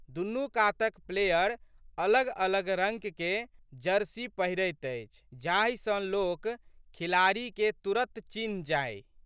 दुनू कातक प्लेयर अलगअलग रंगके जर्सी पहिरैत अछि जाहि सँ लोक खिलाड़ीके तुरत चन्हि जाइ।